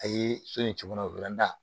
A ye so in tunu da